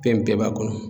Fɛn bɛɛ b'a kɔnɔ